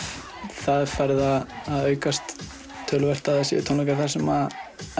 það er verið að aukast töluvert að það séu tónleikar þar sem